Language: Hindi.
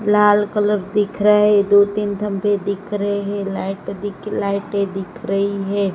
लाल कलर दिख रा है दो तीन धब्बे दिख रे है लाइट दिख लाइटे दिख रही है।